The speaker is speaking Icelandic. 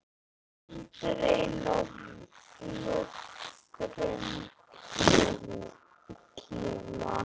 Aldrei nokkurn tíma!